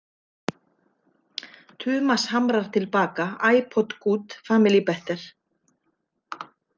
Tumas hamrar til baka: ipod good, family better.